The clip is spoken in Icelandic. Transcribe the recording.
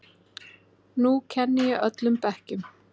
Nú kenni ég öllum bekkjum.